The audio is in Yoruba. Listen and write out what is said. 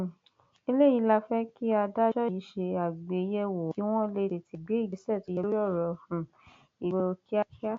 um eléyìí la fẹ kí adájọ yìí ṣe àgbéyẹwò kí wọn lè tètè gbé ìgbésẹ tó yẹ lórí ọrọ um ìgboro kíákíá